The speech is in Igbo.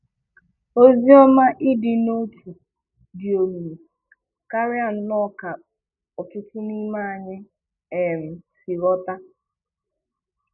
Oziọma ịdị n'otu dị omimi karịa nnọọ ka ọtụtụ n'ime anyị um si ghọta.